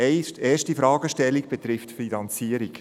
Die erste Fragestellung betrifft die Finanzierung.